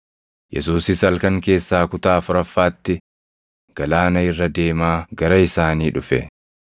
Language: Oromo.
Yesuusis halkan keessaa kutaa afuraffaatti galaana irra deemaa gara isaanii dhufe.